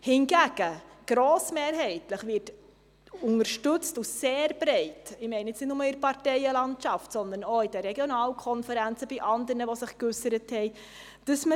Hingegen wird die Weiterentwicklung der kantonalen Fusionspolitik grossmehrheitlich und sehr breit, also nicht nur in der Parteienlandschaft, sehr unterstützt, sondern auch von den Regionalkonferenzen und anderen, die sich geäussert haben.